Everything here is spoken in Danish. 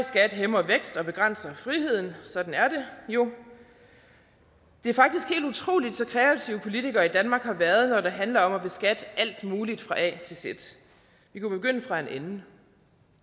skat hæmmer væksten og begrænser friheden sådan er det jo det er faktisk helt utroligt så kreative politikere i danmark har været når det handler om at beskatte alt muligt fra a til z vi kunne begynde fra en ende